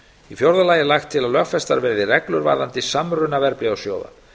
í fjórða lagi er lagt til að lögfestar verði reglur varðandi samruna verðbréfasjóða